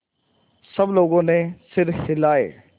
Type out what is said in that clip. सब लोगों ने सिर हिलाए